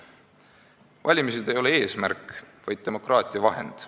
" Valimised ei ole eesmärk, vaid demokraatia vahend.